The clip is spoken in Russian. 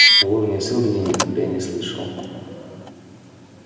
о вороне-сэлдоне я никогда и не слышал